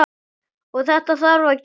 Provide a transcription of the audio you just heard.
Og þetta þarf að gerast.